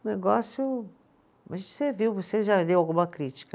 O negócio. Acho que você viu, você já leu alguma crítica